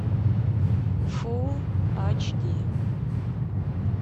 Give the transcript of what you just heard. фулл ач ди